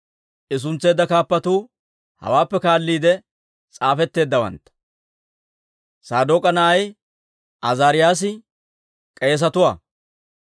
I suntseedda kaappatuu hawaappe kaalliide s'aafetteeddawantta. Saadook'a na'ay Azaariyaasi k'eesaa;